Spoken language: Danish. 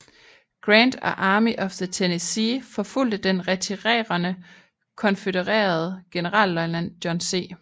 Grant og Army of the Tennessee forfulgte den retirerende konfødererede generalløjtnant John C